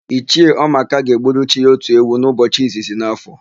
Ichie Ọmaka ga-egburu chi ya otu ewu n'ụbọchị izizi n'áfọ̀.